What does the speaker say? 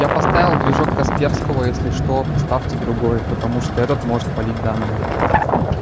я поставил движок касперского если что ставьте другой потому что этот может палить данные